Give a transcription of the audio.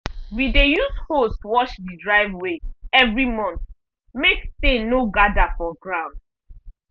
we dey use hose wash the driveway every month make stain no gather for ground.